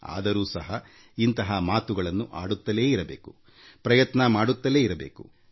ಆದರೂ ಸಹ ಇಂತಹ ಮಾತುಗಳನ್ನ ಆಡುತ್ತಲೇ ಇರಬೇಕಾಗುತ್ತದೆ ಪ್ರಯತ್ನ ಮಾಡುತ್ತಲೇ ಇರಬೇಕಾಗುತ್ತದೆ